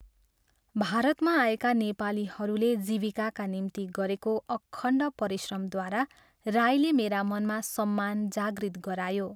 भारतमा आएका नेपालीहरूले जीविकाका निम्ति गरेको अखण्ड परिश्रमद्वारा राईले मेरा मनमा सम्मान जागृत गरायो।